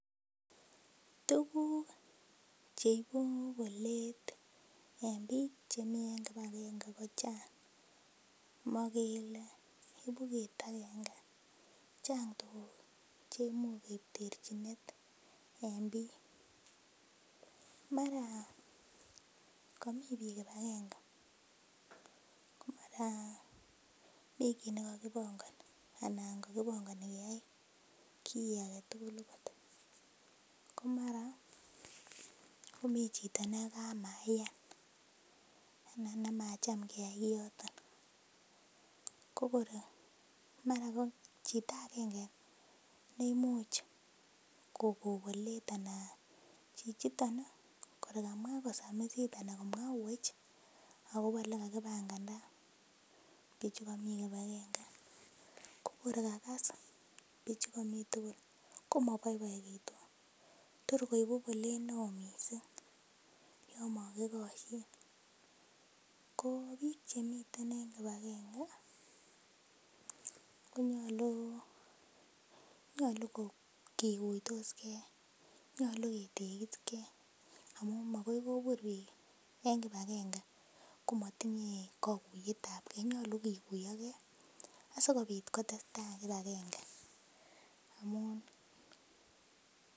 Tuguk cheibu bolet en biik chemii en kibagange ko chang' mokele ibu kit agenge, chang' tuguk cheimuch koib terchinet en biik mara komii biik kibagange ko mara mi kit nekokibongoni ana kokibongoni keyai kiy aketugul okot ko mara komii chito nekamaiyan ana nemacham keyai kioton ko kor mara ko chito agenge neimuch ko kon bolet ana chichiton ih kor kamwaa kosamisit ana komwa kowech akobo elekakibanganda bichukomii kibagange ko kor kakas bichukomii tugul komoboiboekitu tor koibu bolet neoo missing yon mokikoshin ko biik chemiten en kibagange konyolu nyolu kikuitosgee nyolu ketegisigee amun makoi kobur biik en kibagange komotinye kokuyetab gee nyolu kikuiyogee asikobit kotesetai kibagange amun